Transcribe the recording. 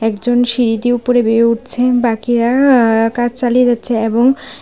একজন সিঁড়ি দিয়ে উপরে বেয়ে উঠছে বাকিরা আ আ কাজ চালিয়ে যাচ্ছে এবং--